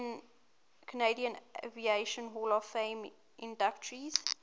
canadian aviation hall of fame inductees